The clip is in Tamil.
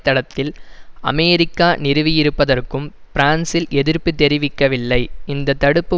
தளத்தில் அமெரிக்கா நிறுவியிருப்பதற்கும் பிரான்ஸ் எதிர்ப்பு தெரிவிக்கவில்லை இந்த தடுப்பு